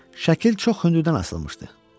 Şəkil çox hündürdən asılmışdı.